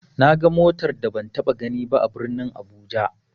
Naga motar da ban taɓa ganiba a birnin abuja.